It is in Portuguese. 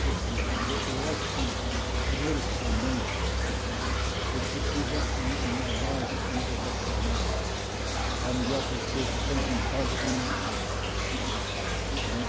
Quer dizer, eu eu acho que primeiro o cidadão, ele precisa um uma base educacional, a melhor perfeita, tanto em casa como na escola. Não é